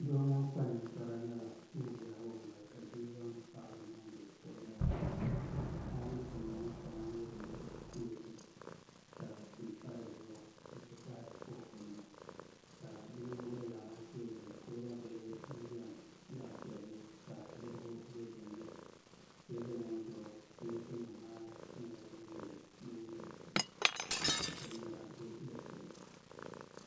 Doo ŋun kpa ninkpara nyɛla ŋun yaagi o noli ka bia zaŋdi paanu niŋdi o nolini ka paanu chimda ŋo shɛli nyɛ din bɛ pileet puuni ka suu pa dizuɣu n ti pahi fook nima ka bia ŋo gba zaa ha tooni kuriga bili n biɛni zaɣ piɛlli ka dirigu bɛ dinni teebuli ŋo zuɣu pileet nim ŋo nyɛla din galisi ka binyɛra bɛ dinni